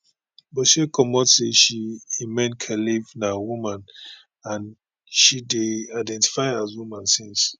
butshe comot say she imane khelif na woman and she dey identify as woman since